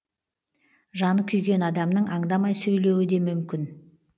жаны күйген адамның аңдамай сөйлеуі де мүмкін